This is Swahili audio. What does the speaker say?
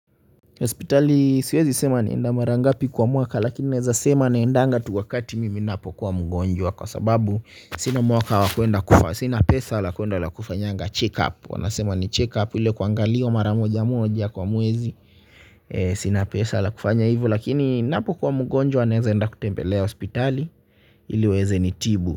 Hospitali siwezi sema naenda mara ngapi kwa mwaka lakini naeza sema naendanga tu wakati mimi napokuwa mgonjwa kwa sababu sina mwaka wakuenda kufa, sina pesa la kuenda la kufanyanga check up. Wanasema ni check up ile kuangalio mara mojamoja kwa mwezi sina pesa la kufanya hivyo lakini ninapokuwa mgonjwa naeza enda kutembelea hospitali iliweze nitibu.